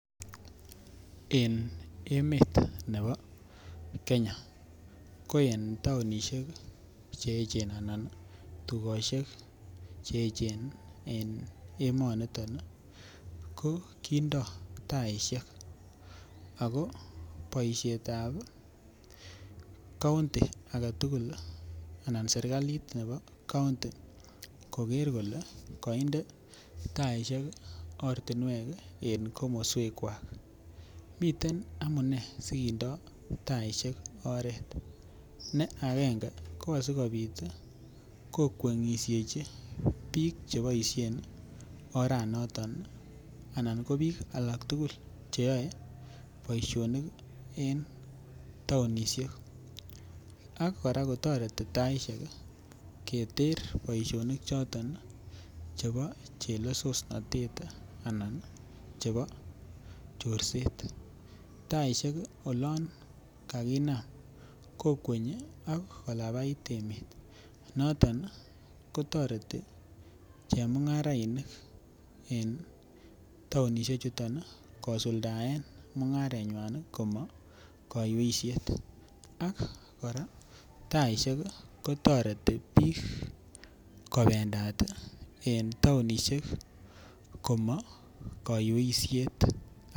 En emet nebo Kenya ko en tounishek ii Cheechen anan tugoshek Cheechen en emoniton ko kindo taishek ako boishetab kounti agetugul anan serkalit nebo kounti koger kole konde taishek ortinwek en komoswekwak. Miten amune sikindo taishek oret. Ne angenge ko asikopit kokwenyushechi biik che boishen oranoton ii anan ko biik alak tugul che yoe boisionik ii en tounishek ak koraa kotoreti taishek ii keter boisionik choton chebo chelesosnotet anan chebo chorset. Taishek olon kakinam kokweny ak kolapait emet noton ko toreti che mungarainik en tounishek chuton kosuldaen mungarenywan komo koiyweishet ak koraa taishek ii kotoreti biik kobendat ii en tounishek komo koiyweishet